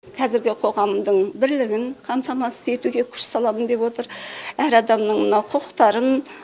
қазіргі қоғамдың бірлігін қамтамасыз етуге күш саламын деп отыр әр адамның мынау құқықтарын